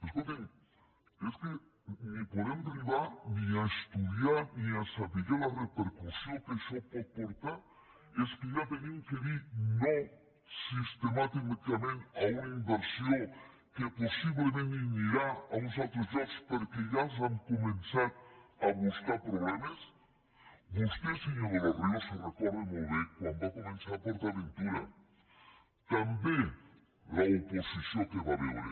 escol·ti’m és que no podem arribar ni a estudiar ni a saber la repercussió que això pot portar és que ja hem de dir no sistemàticament a una inversió que possiblement anirà a uns altres llocs perquè ja els hem començat a buscar problemes vostè senyor de los ríos se recor·da molt bé quan va començar port aven tura també l’oposició que hi va haver